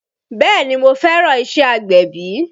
Bẹ́ẹ̀ni mo fẹ́ràn iṣẹ́ agbẹ̀bí